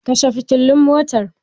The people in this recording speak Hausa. Kashe fitilun motar!